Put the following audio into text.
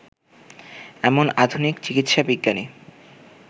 এমন আধুনিক চিকিৎসাবিজ্ঞানী